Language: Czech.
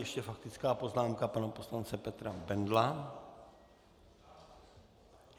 Ještě faktická poznámka pana poslance Petra Bendla.